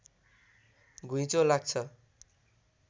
घुइँचो लाग्छ